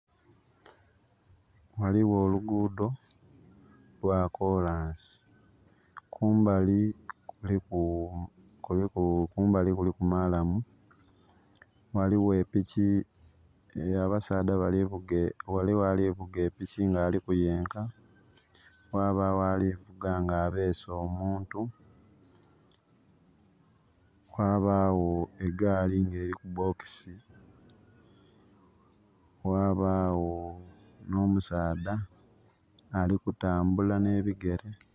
Ghaligho oluguudo lwakolansi, kumbali kuliku maalamu ghaligho alivuga piki nga aliku yenka, ghabagho alivuga nga abese omuntu, ghabagho egaali nga eriku bokisi, ghabagho omusaadha ali kutambula nhe bigere.